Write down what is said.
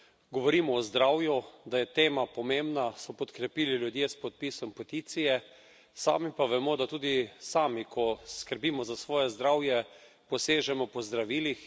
Govorimo o zdravju, da je tema pomembna, so podkrepili ljudje s podpisom peticije, sami pa vemo, da tudi sami, ko skrbimo za svoje zdravje, posežemo po zdravilih.